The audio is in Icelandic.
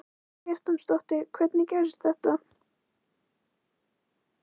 Karen Kjartansdóttir: Hvernig gerðist þetta?